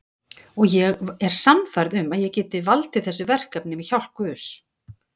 Og ég er sannfærð um að ég get valdið þessu verkefni með hjálp guðs.